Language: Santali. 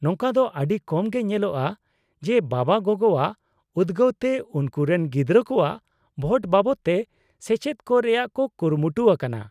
-ᱱᱚᱝᱠᱟ ᱫᱚ ᱟᱹᱰᱤ ᱠᱚᱢ ᱜᱮ ᱧᱮᱞᱚᱜᱼᱟ ᱡᱮ ᱵᱟᱵᱟᱼᱜᱚᱜᱚᱣᱟᱜ ᱩᱫᱜᱟᱹᱣ ᱛᱮ ᱩᱱᱠᱩᱨᱮᱱ ᱜᱤᱫᱽᱨᱟᱹ ᱠᱚᱣᱟᱜ ᱵᱷᱳᱴ ᱵᱟᱵᱚᱫᱛᱮ ᱥᱮᱪᱮᱫ ᱠᱚ ᱨᱮᱭᱟᱜ ᱠᱚ ᱠᱩᱨᱩᱢᱩᱴᱩ ᱟᱠᱟᱱᱟ ᱾